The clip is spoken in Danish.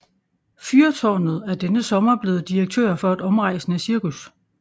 Fyrtårnet er denne sommer blevet direktør for et omrejsende cirkus